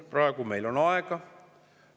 Praegu meil on aega.